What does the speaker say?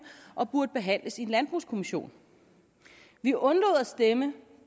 og burde behandles i en landbrugskommission vi undlod at stemme